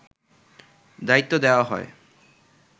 দায়িত্ব দেওয়া হয়